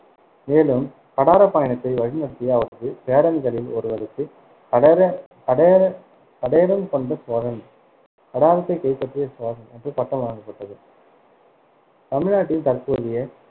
மேலும் கடாரப் பயணத்தை வழிநடத்திய அவரது பேரன்களில் ஒருவருக்கு கடர~ கடரே~ கடேரம்கொண்ட சோழன் கடாரத்தைக் கைப்பற்றிய சோழன் என்ற பட்டம் வழங்கப்பட்டது தமிழ்நாட்டின் தற்போதைய